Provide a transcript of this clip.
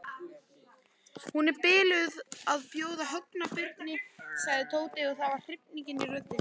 Hún er biluð að bjóða Högna birginn sagði Tóti og það var hrifning í röddinni.